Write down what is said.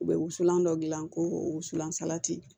U bɛ wusulan dɔ dilan ko wusulan salati